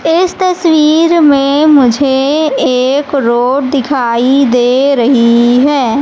इस तस्वीर में मुझे एक रोड दिखाई दे रही है।